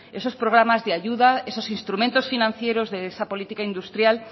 esos programas de ayuda esos instrumentos financieros de esa política industrial